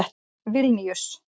Vilníus